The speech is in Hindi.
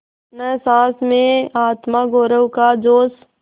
न सास में आत्मगौरव का जोश